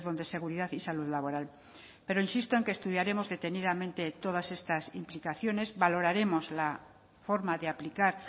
de seguridad y salud laboral pero insisto en que estudiaremos detenidamente todas estas implicaciones valoraremos la forma de aplicar